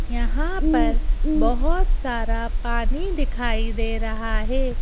यहां पर बहुत सारा पानी दिखाई दे रहा है।